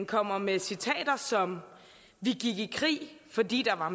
kommer med citater som vi gik i krig fordi der var